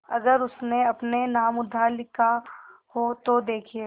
अगर उसने अपने नाम उधार लिखा हो तो देखिए